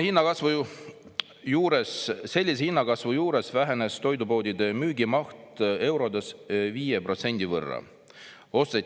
"Sellise hinnakasvu juures vähenes toidupoodide müügimaht eurodes viie protsendi võrra," märkis Raudsepp.